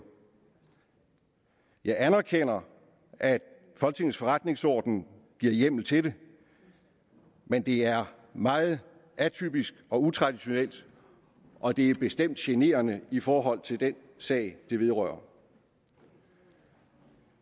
jeg anerkender at folketingets forretningsorden giver hjemmel til det men det er meget atypisk og utraditionelt og det er bestemt generende i forhold til den sag det vedrører